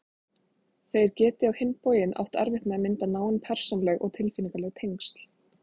Þeir geti á hinn bóginn átt erfitt með að mynda náin persónuleg og tilfinningaleg tengsl.